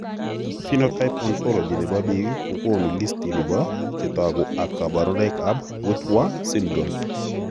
Phenotype ontology nebo biik kokoonu listini bo chetogu ak kaborunoik ab Wittwer syndrome